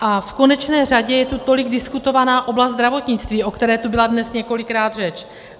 A v konečné řadě je tu tolik diskutovaná oblast zdravotnictví, o které tu byla dnes několikrát řeč.